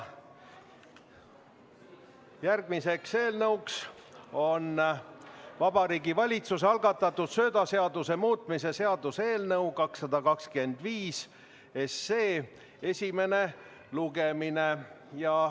Järgmine punkt on Vabariigi Valitsuse algatatud söödaseaduse muutmise seaduse eelnõu 225 esimene lugemine.